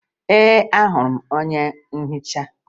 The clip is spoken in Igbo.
Ee, ahụrụ m onye nhicha